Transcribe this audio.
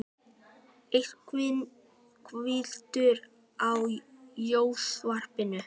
Edvin, kveiktu á sjónvarpinu.